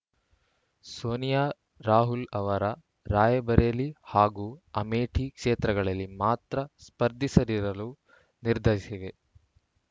ಸೋನಿಯಾ ರಾಹುಲ್‌ ಅವರ ರಾಯ್‌ಬರೇಲಿ ಹಾಗೂ ಅಮೇಠಿ ಕ್ಷೇತ್ರಗಳಲ್ಲಿ ಮಾತ್ರ ಸ್ಪರ್ಧಿಸದಿರಲು ನಿರ್ಧರಿಸಿವೆ